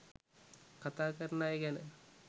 කතා කරන අය ගැන